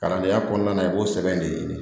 Kalandenya kɔnɔna na i b'o sɛbɛn de ɲini